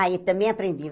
Aí também aprendi.